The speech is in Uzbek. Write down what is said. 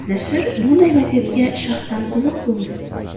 Nashr bunday vaziyatga shaxsan guvoh bo‘ldi.